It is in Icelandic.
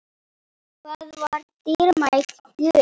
Það var dýrmæt gjöf.